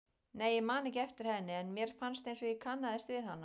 Nei, ég man ekki eftir henni en mér fannst einsog ég kannaðist við hana.